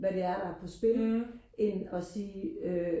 hvad det er der er på spil end øh sige øh